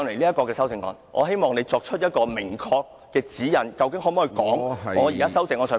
因此，我希望你作出明確的指引，究竟我可否就我的修正案發言......